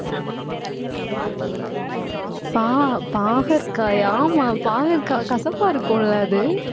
பா~ பாகற்காயா ஆமா, பாகற்காய் கசப்பா இருக்கும்ல அது.